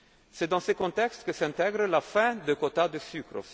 revenus. C'est dans ce contexte que s'intègre aussi la fin des quotas de